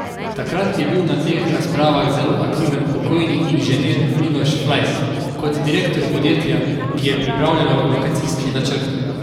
Takrat je bil na teh razpravah zelo aktiven pokojni inženir Miloš Flajs, kot direktor podjetja, ki je pripravljalo lokacijski načrt.